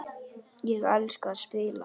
Ég elska að spila.